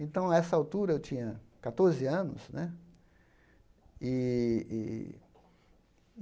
Então, a essa altura, eu tinha catorze anos né. ih ih